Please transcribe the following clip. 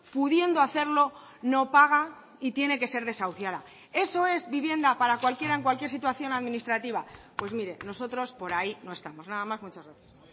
pudiendo hacerlo no paga y tiene que ser desahuciada eso es vivienda para cualquiera en cualquier situación administrativa pues mire nosotros por ahí no estamos nada más muchas gracias